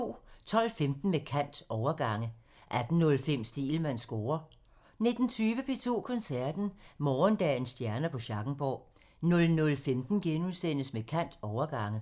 12:15: Med kant – Overgange 18:05: Stegelmanns score (tir) 19:20: P2 Koncerten – Morgendagens stjerner på Schackenborg 00:15: Med kant – Overgange *